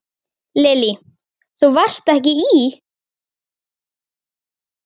Lillý: Þú varst ekki í?